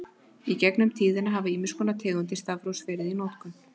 Í gegnum tíðina hafa ýmiss konar tegundir stafrófs verið í notkun.